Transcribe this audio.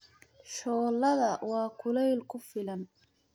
Shooladda waa kuleyl ku filan.